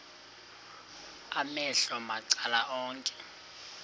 amehlo macala onke